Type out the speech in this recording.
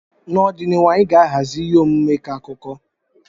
N'ọdịnihu, anyị ga-ahazi ihe omume ịkọ akụkọ.